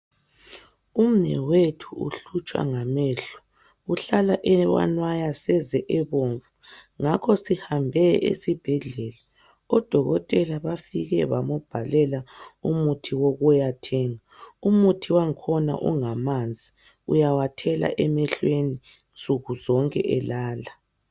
Umnewethu uhlutshwa ngamehlo uhlala ewanwaya seze ebomvu ngakho sihambe esibhedlela odokotela bafike bambhalela umuthi wokuyathenga umuthi wakhona ungamanzi uyawathela emehlweni nsukuzonke elala.